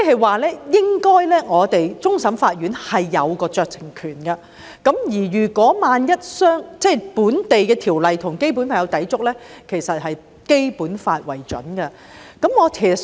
換言之，終審法院應該擁有酌情權，而一旦本地法例與《基本法》有所抵觸，其實是以《基本法》為準的。